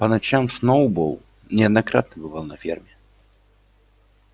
по ночам сноуболл неоднократно бывал на ферме